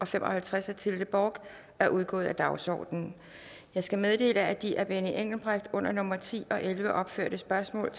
fem og halvtreds af tilde bork er udgået af dagsordenen jeg skal meddele at de af benny engelbrecht under nummer ti og elleve opførte spørgsmål